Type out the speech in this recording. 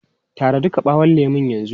Tara duka ɓawon lemun yanzu!